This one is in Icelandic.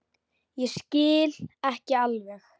Ég skil ekki alveg